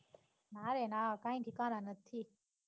ના રે ના કાંઈ ઠેકાણા નથી.